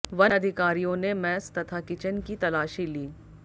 one अधिकारियों ने mess तथा किचन की तलाशी ली